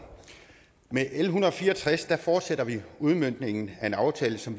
med l en hundrede og fire og tres fortsætter vi udmøntningen af en aftale som